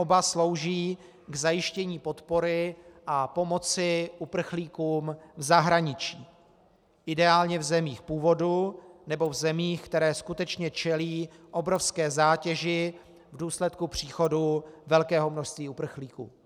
Oba slouží k zajištění podpory a pomoci uprchlíkům v zahraničí, ideálně v zemích původu nebo v zemích, které skutečně čelí obrovské zátěži v důsledku příchodu velkého množství uprchlíků.